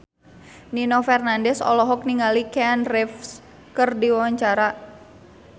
Nino Fernandez olohok ningali Keanu Reeves keur diwawancara